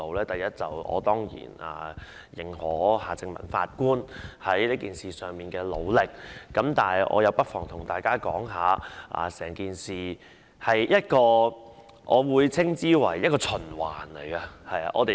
第一，我當然肯定夏正民法官在這事上的努力，但我不妨告訴大家，就整件事來說，我會稱之為一個循環。